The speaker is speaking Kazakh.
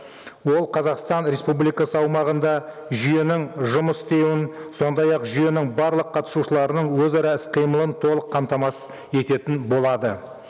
ол қазақстан республикасы аумағында жүйенің жұмыс істеуін сондай ақ жүйенің барлық қатысушыларының өзара іс қимылын толық қамтамасыз ететін болады